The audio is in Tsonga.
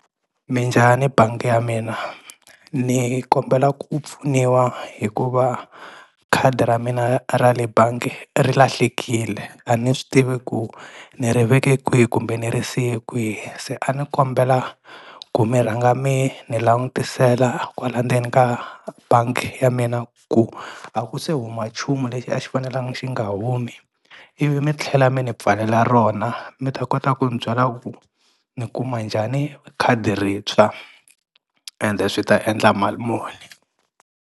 Minjhani bangi ya mina ni kombela ku pfuniwa hikuva khadi ra mina ra le bangi ri lahlekile a ni swi tivi ku ni ri veke kwihi kumbe ni ri siye kwihi, se a ni kombela ku mi rhanga mi ni langutisela kwala ndzeni ka bangi ya mina ku a ku se huma nchumu lexi a xi fanelangi xi nga humi ivi mi tlhela mi ni pfalela rona mi ta kota ku ni byela ku ni kuma njhani khadi rintshwa ende swi ta endla mali muni.